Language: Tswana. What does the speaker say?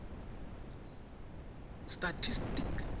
statistic